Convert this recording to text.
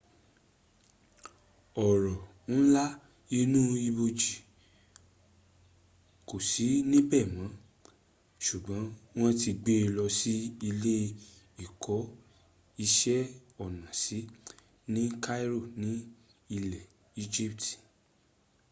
ọrọ̀ ńlá inú ibojì kò sí níbẹ̀ mọ́ sùgbọ́n wọ́n ti gbe lọ sí ilé ìkó iṣẹ́ ọnà sí ni cairo ní ilẹ̀ egypt